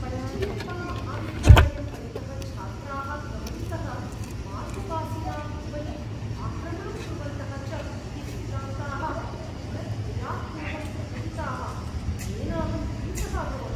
पचैयप्पामहाविद्यालयं परितः छात्राः भ्रमन्तः, मार्गवासिनाम् उपरि आक्रमणं कुर्वन्तः च इति वृत्तान्ताः दिनद्वयात् पूर्वं प्रकटिताः, येन अहं भीतः अभवम्।